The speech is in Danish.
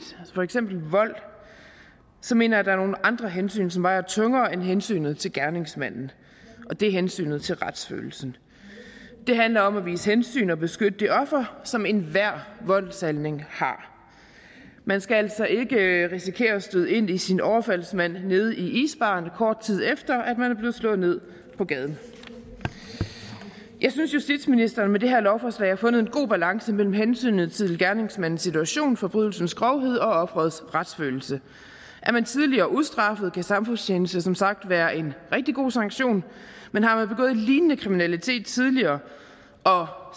for eksempel vold mener jeg der er nogle andre hensyn som vejer tungere end hensynet til gerningsmanden og det er hensynet til retsfølelsen det handler om at vise hensyn og beskytte det offer som enhver voldshandling har man skal altså ikke risikere at støde ind i sin overfaldsmand nede i isbaren kort tid efter at man er blevet slået ned på gaden jeg synes justitsministeren med det her lovforslag har fundet en god balance mellem hensynet til gerningsmandens situation forbrydelsens grovhed og offerets retsfølelse er man tidligere ustraffet kan samfundstjeneste som sagt været en rigtig god sanktion men har man begået lignende kriminalitet tidligere og